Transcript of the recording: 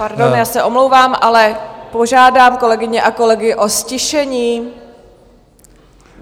Pardon, já se omlouvám, ale požádám kolegyně a kolegy o ztišení.